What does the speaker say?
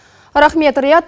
рахмет риат